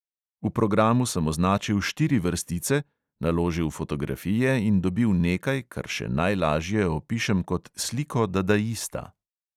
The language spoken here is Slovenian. V programu sem označil štiri vrstice, naložil fotografije in dobil nekaj, kar še najlažje opišem kot sliko dadaista.